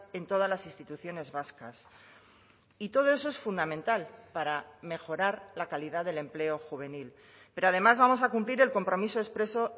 en todas las instituciones vascas y todo eso es fundamental para mejorar la calidad del empleo juvenil pero además vamos a cumplir el compromiso expreso